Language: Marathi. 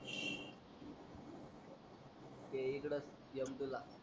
ते इकडच mp ला.